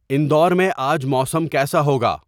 اندور میں آج موسم کیسا ہوگا